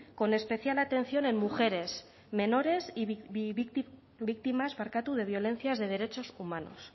con especial atención en mujeres menores y víctimas de violencias de derechos humanos